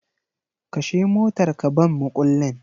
Kashe motar ka ban mukullin